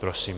Prosím.